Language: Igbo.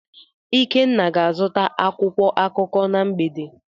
Ikenna ga-azụta akwụkwọ akụkọ na mgbede.